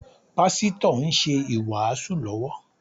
Pásítọ̀ ń ṣe ìwàásù lọ́wọ́